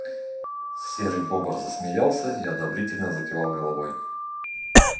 серый бобр засмеялся и одобрительно закивал головой